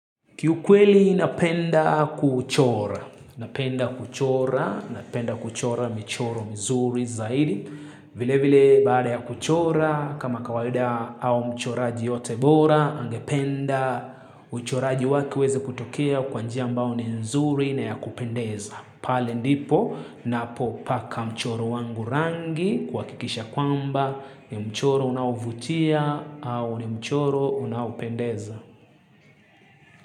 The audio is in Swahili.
Kiukweli napenda kuchora, napenda kuchora, napenda kuchora michoro mzuri zaidi, vile vile baada ya kuchora, kama kawalida au mchoraji yeyote bora, angependa uchoraji wake uweze kutokia kwanjia ambao ni mzuri na ya kupendeza. Pale ndipo, napo paka mchoro wangu rangi, kwa kikisha kwamba ni mchoro unauvutia au ni mchoro unaupendeza.